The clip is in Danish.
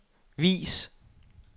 vis